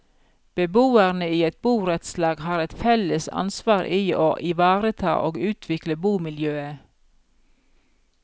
Beboerne i et borettslag har et felles ansvar i å ivareta og utvikle bomiljøet.